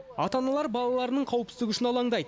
ата аналар балаларының қауіпсіздігі үшін алаңдайды